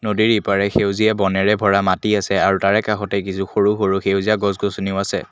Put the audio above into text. নদীৰ ইপাৰে সেউজীয়া বনেৰে ভৰা মাটি আছে আৰু তাৰে কাষতে কিছু সৰু সৰু সেউজীয়া গছ গছনিও আছে।